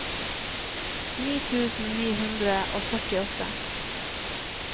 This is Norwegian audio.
ni tusen ni hundre og førtiåtte